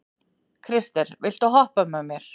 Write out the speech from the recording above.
Krister, viltu hoppa með mér?